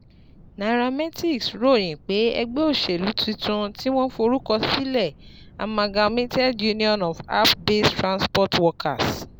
nairametrics ròyìn pé ẹgbẹ́ òṣèlú tuntun tí wọ́n forúkọ sílẹ̀ Amalgamated Union of App-Based Transport Workers